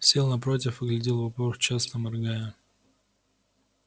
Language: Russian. сел напротив и глядел в упор часто моргая